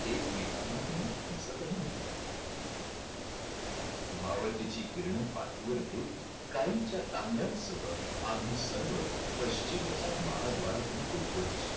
एकमेकांना नीट दिसतही नव्हते. मावळतीची किरणं पाठीवर घेत गायींच्या तांड्यांसह आम्ही सर्व पश्चिमेच्या महाद्वाराकडून गोकुळात शिरलो.